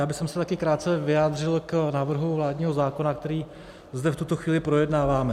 Já bych se také krátce vyjádřil k návrhu vládního zákona, který zde v tuto chvíli projednáváme.